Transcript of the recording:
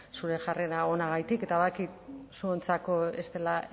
zure jarrera onagatik eta badakit zuontzako ez dela